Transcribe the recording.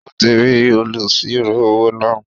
Ó ti rí olùsirò-owó náà